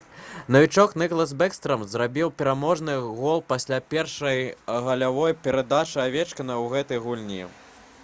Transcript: навічок ніклас бэкстрам забіў пераможны гол пасля першай галявой перадачы авечкіна ў гэтай гульні